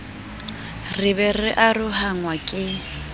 re be re arohanngwa ke